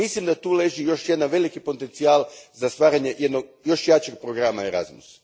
Mislim da tu leži još jedan veliki potencijal za stvaranje jednog još jačeg programa Erasmus.